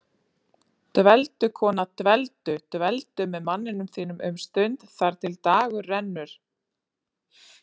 Dveldu, kona, dveldu- dveldu með manninum þínum um stund þar til dagur rennur.